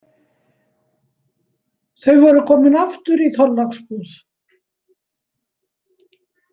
Þau voru komin aftur í Þorláksbúð.